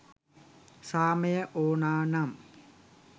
සාමය ඕන නම්